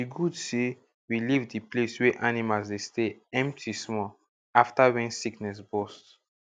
e good say we leave the place wey animals dey stay empty small after wen sickness bust